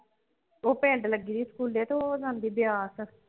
ਉਹ ਪਿੰਡ ਲੱਗੀ ਹੋਈ ਸਕੂਲੇ ਤੇ ਉਹ ਜਾਂਦੀ ਬਿਆਸ।